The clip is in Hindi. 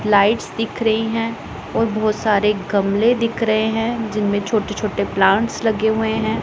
लाइट्स दिख रही हैं और बहुत सारे गमले दिख रहे हैं जिनमें छोटे-छोटे प्लांट्स लगे हुए हैं।